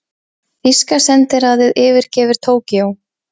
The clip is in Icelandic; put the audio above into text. Þýska sendiráðið yfirgefur Tókýó